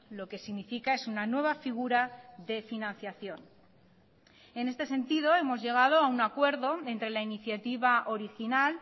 lo que significa es una nueva figura de financiación en este sentido hemos llegado a un acuerdo entre la iniciativa original